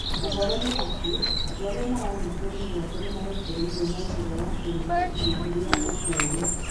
Ũhoro nĩ atĩ, andũ arĩa maanyitĩtwo mĩgwate nĩ marekereirio na njĩra ya kũrĩhwo irĩhi rĩa ũkũũri.